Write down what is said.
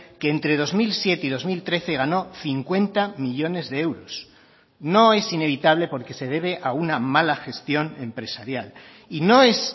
que entre dos mil siete y dos mil trece ganó cincuenta millónes de euros no es inevitable porque se debe a una mala gestión empresarial y no es